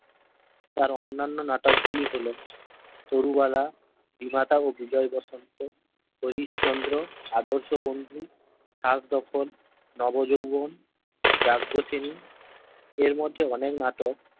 তার অন্যান্য নাটক গুলো হল তরুবালা বিমাতা ও বিজয় বসন্ত হরিশ চন্দ্র আদর্শ বন্ধু খাসদ্খল নব যৌবন যাজ্ঞসেনী এর মধ্যে অনেক নাটক